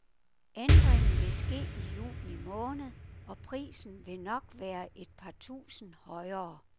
Ændringen vil ske i juni måned og prisen vil nok være et par tusinde højere.